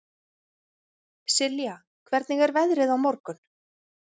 Silja, hvernig er veðrið á morgun?